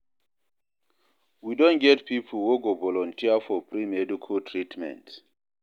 We don get pipo wey go volunteer for free medical treatment.